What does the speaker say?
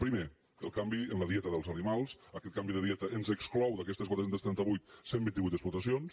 primer el canvi en la dieta dels animals aquest canvi de dieta ens exclou d’aquestes quatre cents i trenta vuit cent i vint vuit explotacions